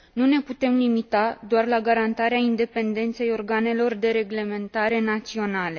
Nu ne putem limita doar la garantarea independenței organelor de reglementare naționale.